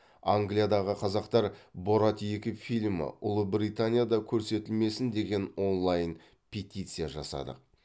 англиядағы қазақтар борат екі фильмі ұлыбританияда көрсетілмесін деген онлайн петиция жасадық